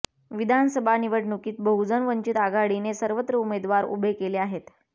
विधानसभा निवडणुकीत बहुजन वंचित आघाडीने सर्वत्र उमेदवार उभे केले आहेत